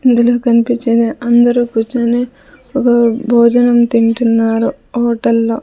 ఇందులో కన్పిచ్చేది అందరూ కూర్చొని ఒకరు భోజనం తింటున్నారు హోటల్లో .